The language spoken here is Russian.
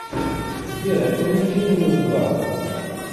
сбер отними три минус два